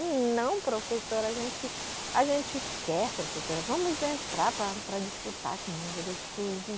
Não, professora, a gente a gente quer, professora, vamos entrar para para disputar com o mundurucus.